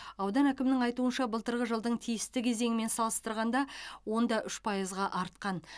аудан әкімінің айтуынша былтырғы жылдың тиісті кезеңімен салыстырғанда онда үш пайызға артқан